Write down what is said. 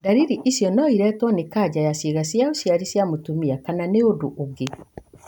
Ndariri icio no iretwo nĩ kanca ya ciĩga cia ũciari cia mũtumia kana nĩ ũndũ ũngĩ.